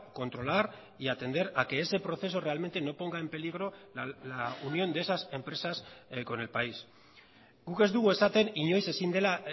controlar y atender a que ese proceso realmente no ponga en peligro la unión de esas empresas con el país guk ez dugu esaten inoiz ezin dela